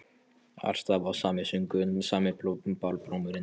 Alls staðar var sami söngurinn, sami barlómurinn.